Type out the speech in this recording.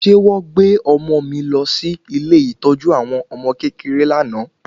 Ṣé wọ́n gbé ọmọ mi lọ sí ilé ìtọ́jú àwọn ọmọ kékeré lánàá